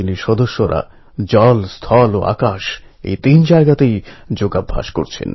দীপ যখন জ্বলেছে তখন অন্ধকার দূর হবেই